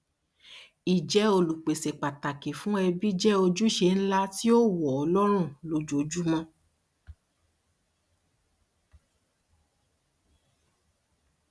ìjẹ olùpèsè pàtàkì fún ẹbí jẹ òjúṣe ńlá tí ó wọ ọ lọrùn lójoojúmọ